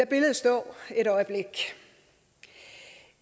billedet stå et øjeblik